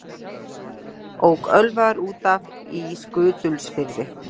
Ók ölvaður út af í Skutulsfirði